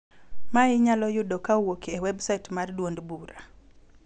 ma inyalo yudo kowuok e websait mar duond bura.